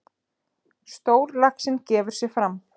Stórlaxinn gefur sig fram.